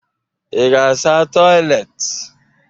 Ị ga-asa toịletị?